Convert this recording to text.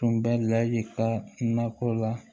Tun bɛ lahi ka nakɔ la